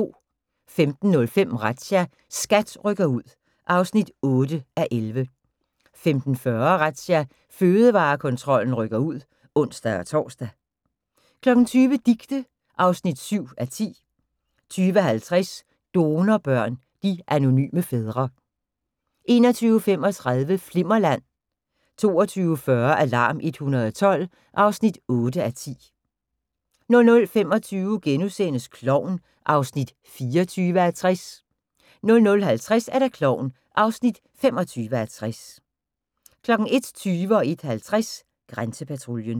15:05: Razzia – SKAT rykker ud (8:11) 15:40: Razzia – Fødevarekontrollen rykker ud (ons-tor) 20:00: Dicte (7:10) 20:50: Donorbørn – de anonyme fædre 21:35: Flimmerland 22:40: Alarm 112 (8:10) 00:25: Klovn (24:60)* 00:50: Klovn (25:60) 01:20: Grænsepatruljen 01:50: Grænsepatruljen